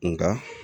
Nka